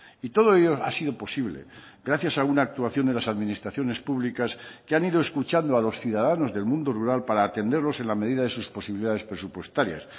y todo ello ha sido posible gracias a una actuación de las administraciones públicas que han ido escuchando a los ciudadanos del mundo rural para atenderlos en la medida de sus posibilidades presupuestarias